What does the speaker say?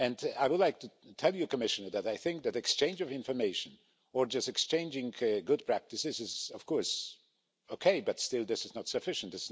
I would like to tell you, Commissioner, that I think that the exchange of information or exchanging good practices is OK, but still, this is not sufficient.